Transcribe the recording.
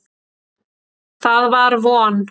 Það var von.